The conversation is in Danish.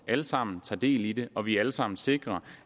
alle sammen tager del i det at vi alle sammen sikrer